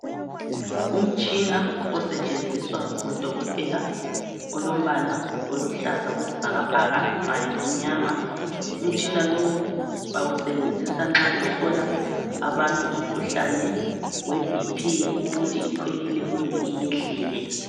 Umtshina osetshenziswa ngudokotela olombala oluhlaza okwesibhakabhaka kanye lomnyama. Umtshina lowu bawusebenzisa nxa behlola abantu umkhuhlane we BP ukuthi ikhwelile kumbe iyehlile